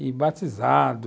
E batizado.